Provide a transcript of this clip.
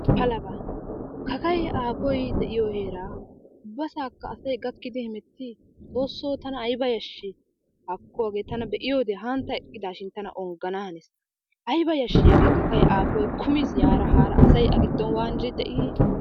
palaba! kakkay aappoy de'iyo heera ubbaassaka asay gakidi heemmeti! aybba yaashshi haakko hage ta eqqiidashin tana onggana hanees. aybba yashshi hagee kakkay aafoy kummiis. asa a giddon waanidi de'i.